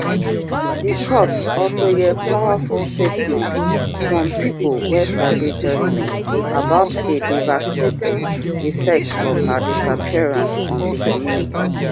di court also hear powerful statements from pipo wey sabi joshlin about di devastating effect of her disappearance on di community